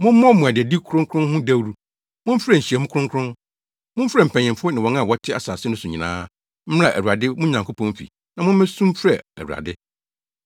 Mommɔ mmuadadi kronkron ho dawuru; momfrɛ nhyiamu kronkron. Momfrɛ mpanyimfo ne wɔn a wɔte asase no so nyinaa mmra Awurade mo Nyankopɔn fi na wommesu mfrɛ Awurade.